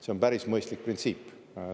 See on päris mõistlik printsiip.